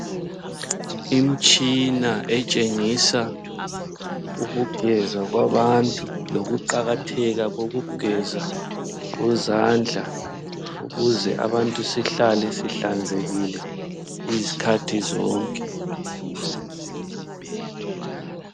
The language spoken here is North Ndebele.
Imitshina etshengisa ukugeza kwabantu, lokuqakatheka kokugeza kwezandla ukuze abantu sihlale sihlanzekile izikhathi zonke.